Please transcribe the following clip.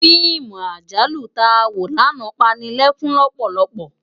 Fiimú àjálú tá wó làná pá ni lèkún lòpòlòpò